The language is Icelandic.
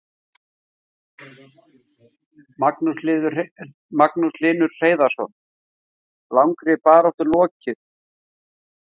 Magnús Hlynur Hreiðarsson: Langri baráttu lokið?